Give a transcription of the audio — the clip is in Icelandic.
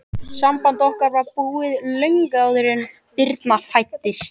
Samband okkar var búið, löngu áður en Birna fæddist.